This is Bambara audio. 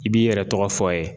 I b'i yɛrɛ tɔgɔ fɔ a ye